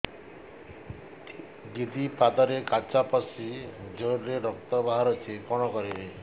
ଦିଦି ପାଦରେ କାଚ ପଶି ଜୋରରେ ରକ୍ତ ବାହାରୁଛି କଣ କରିଵି